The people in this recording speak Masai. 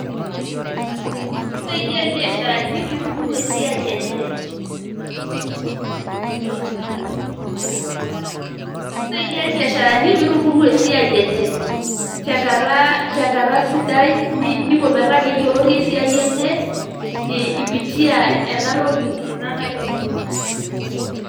Kisaidia irbiasharani pitubulu esiaai enye ,kisaidia irbiasharani pitubulu esiai enye tenkata sidai niko peyie kiyioloti esiai enye ipitia ena toki ena nagirai aitodolo.